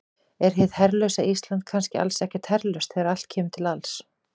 Er hið herlausa Ísland kannski alls ekkert herlaust þegar allt kemur til alls?